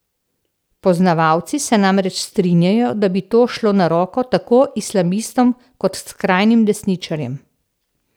Poznavalci se namreč strinjajo, da bi to šlo na roko tako islamistom kot skrajnim desničarjem.